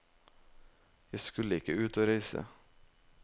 Jeg skulle ikke ut og reise.